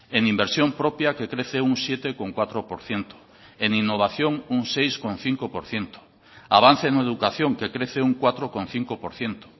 en inversión propia que crece un siete coma cuatro por ciento en innovación un seis coma cinco por ciento avance en educación que crece un cuatro coma cinco por ciento